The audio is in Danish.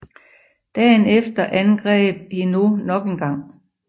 Dagen efter angreb Hinault nok engang